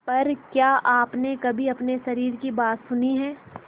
पर क्या आपने कभी अपने शरीर की बात सुनी है